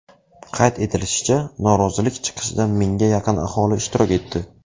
Qayd etilishicha, norozilik chiqishida mingga yaqin aholi ishtirok etdi.